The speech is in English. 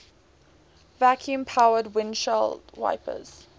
vacuum powered windshield wipers